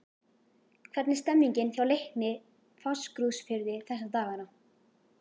Hvernig er stemningin hjá Leikni Fáskrúðsfirði þessa dagana?